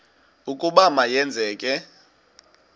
ukuba ma yenzeke